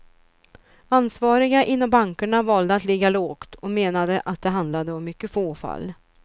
Ansvariga inom bankerna valde att ligga lågt och menade att det handlade om mycket få fall.